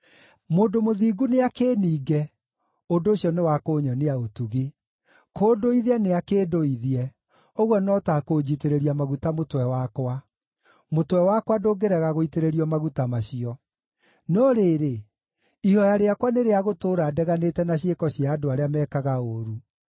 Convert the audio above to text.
Mũndũ mũthingu nĩakĩĩninge: ũndũ ũcio nĩ wa kũnyonia ũtugi; kũndũithia nĩakĩndũithie: ũguo no ta kũnjitĩrĩria maguta mũtwe wakwa. Mũtwe wakwa ndũngĩrega gũitĩrĩrio maguta macio. No rĩrĩ, ihooya rĩakwa nĩ rĩa gũtũũra ndeganĩte na ciĩko cia andũ arĩa meekaga ũũru;